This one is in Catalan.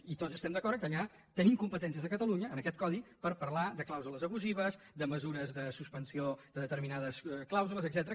i tots estem d’acord que ja tenim competències a catalunya en aquest codi per parlar de clàusules abusives de mesures de suspensió de determinades clàusules etcètera